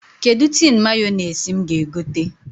Kedụ tin Mayọnais m ga-egote?